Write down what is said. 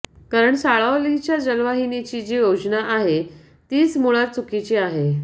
कारण साळावलीच्या जलवाहिनीची जी योजना आहे तीच मुळात चुकीची आहे